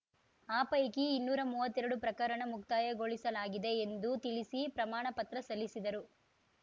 ಆ ಪೈಕಿ ಇನ್ನೂರಾ ಮೂವತ್ತೆರಡು ಪ್ರಕರಣ ಮುಕ್ತಾಯಗೊಳಿಸಲಾಗಿದೆ ಎಂದು ತಿಳಿಸಿ ಪ್ರಮಾಣಪತ್ರ ಸಲ್ಲಿಸಿದರು